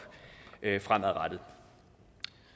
fremadrettet